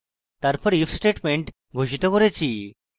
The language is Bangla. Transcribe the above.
তারপর if statement ঘোষিত করেছি